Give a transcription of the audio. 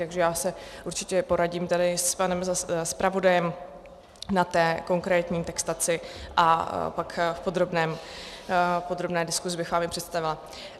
Takže já se určitě poradím tady s panem zpravodajem na té konkrétní textaci a pak v podrobné diskuzi bych vám ji představila.